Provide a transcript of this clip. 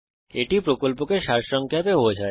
এটি প্রকল্পকে সারসংক্ষেপে বোঝায়